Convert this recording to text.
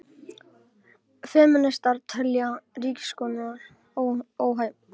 Femínistar telja ríkissaksóknara óhæfan